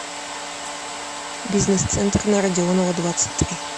бизнес центр на родионова двадцать три